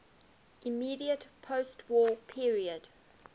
immediate postwar period